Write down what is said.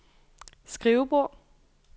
skrivebord